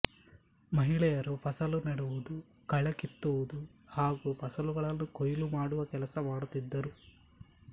ಮಹಿಳೆಯರು ಫಸಲು ನೆಡುವುದು ಕಳೆ ಕಿತ್ತುವುದು ಹಾಗೂ ಫಸಲುಗಳನ್ನು ಕೊಯ್ಲು ಮಾಡುವ ಕೆಲಸ ಮಾಡುತ್ತಿದ್ದರು